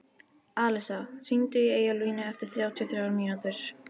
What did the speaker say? Alisa, hringdu í Eyjólflínu eftir þrjátíu og þrjár mínútur.